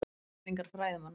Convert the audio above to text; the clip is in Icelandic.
Kenningar fræðimanna.